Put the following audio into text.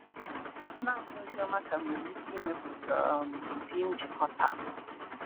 Naanị Oziọma ka nwere ike ịmepụta um ụdị njikọta a.